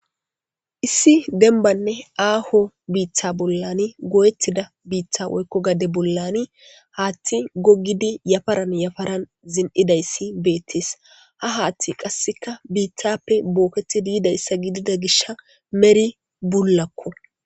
Issi denbanne aaho biiththa bollani goyettida biiththa woykko gade bollani haatti gogidi yafaran yafaran zin7idayssi beettes ha haathti qasseka biithappe booketi diidayssa gidida gishha meri bullakko.